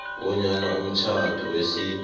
bonyana umtjhado wesintu